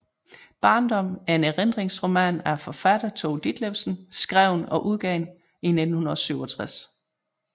Barndom er en erindringsroman af forfatteren Tove Ditlevsen skrevet og udgivet i 1967